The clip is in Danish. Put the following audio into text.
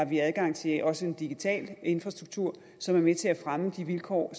vi har adgang til også en digital infrastruktur som er med til at fremme de vilkår